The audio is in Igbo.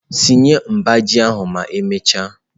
Sichaa mba ji ahụ ma emechaa.